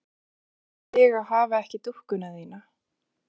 Hvernig er það fyrir þig að hafa ekki dúkkuna þína?